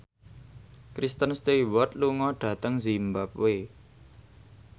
Kristen Stewart lunga dhateng zimbabwe